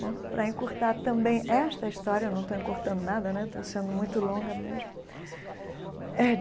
Bom, para encurtar também esta história, não estou encurtando nada né, estou sendo muito longa mesmo eh.